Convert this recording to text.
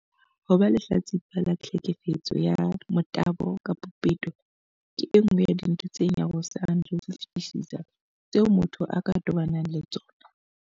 Ho ba lehlatsipa la tlheke fetso ya motabo kapa peto ke e nngwe ya dintho tse nyarosang ka ho fetisisa tseo motho a ka tobanang le tsona.